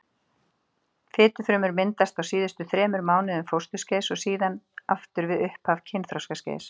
Fitufrumur myndast á síðustu þremur mánuðum fósturskeiðs og síðan aftur við upphaf kynþroskaskeiðs.